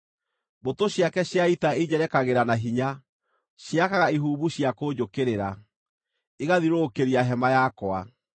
Mbũtũ ciake cia ita injerekagĩra na hinya; ciakaga ihumbu cia kũnjũkĩrĩra, igathiũrũrũkĩria hema yakwa.